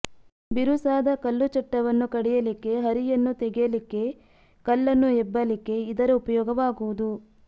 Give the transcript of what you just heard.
ಬಿರುಸಾದ ಕಲ್ಲು ಚಟ್ಟವನ್ನು ಕಡಿಯಲಿಕ್ಕೆ ಹರಿಯನ್ನು ತೆಗೆಯಲಿಕ್ಕೆ ಕಲ್ಲನ್ನು ಎಬ್ಬಲಿಕ್ಕೆ ಇದರ ಉಪಯೋಗವಾಗುವುದು